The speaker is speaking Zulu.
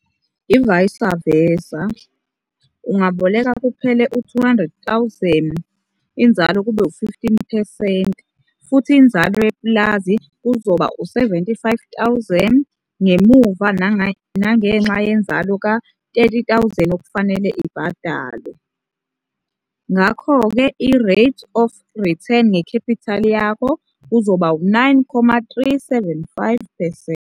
Ivaysi vesa, ungaboleka kuphela u-R200 000 inzalo kube u-15 percent futhi inzalo yepulazi kuzoba u-R75 000 ngemuva nangenxa yenzalo ka-R30 000 okufanele ibhadalwe. Ngakho ke i-rate of return ngekhephithali yakho kuzoba u-9,375 percent.